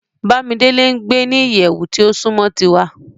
Bamidele n gbe ni iyẹwu ti o sunmọ tiwa